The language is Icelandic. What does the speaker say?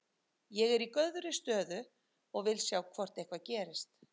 Ég er í góðri stöðu og ég vil sjá hvort eitthvað gerist.